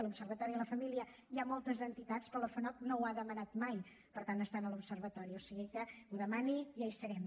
a l’observatori de la família hi ha moltes entitats per la fanoc no ho ha demanat mai estar en l’observatori o sigui que ho demani i ja hi serem